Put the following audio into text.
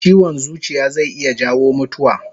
Chiwon zuciya zai iya jawo mutuwa